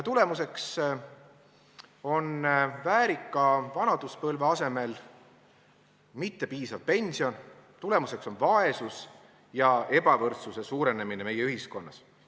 Tulemuseks on väärika vanaduspõlve asemel mittepiisav pension, tulemuseks on vaesus ja ebavõrdsuse suurenemine meie ühiskonnas.